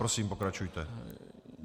Prosím, pokračujte.